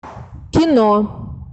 кино